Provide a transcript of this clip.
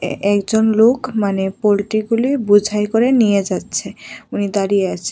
এ একজন লোক মানে পোলট্রিগুলি বোঝাই করে নিয়ে যাচ্ছে উনি দাঁড়িয়ে আছে।